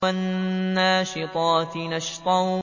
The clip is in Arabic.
وَالنَّاشِطَاتِ نَشْطًا